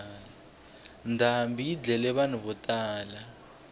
ndhambi yi dlaye vanhu vo tala